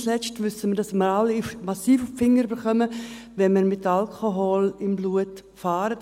Nicht zuletzt wissen wir, dass wir alle massiv auf die Finger bekommen, wenn wir mit Alkohol im Blut fahren;